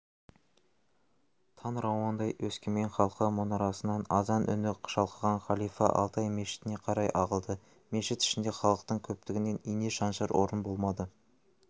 таң рауандай өскемен халқы мұнарасынан азан үні шалқыған халифа алтай мешітіне қарай ағылды мешіт ішінде халықтың көптігінен ине шаншар орын болмады